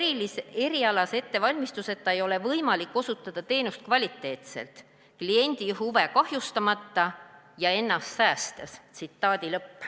Ilma erialase ettevalmistuseta ei ole võimalik osutada teenust kvaliteetselt, kliendi huve kahjustamata ja ennast säästes.